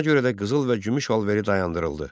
Buna görə də qızıl və gümüş alış-verili dayandırıldı.